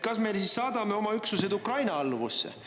Kas me saadame oma üksused Ukraina alluvusse?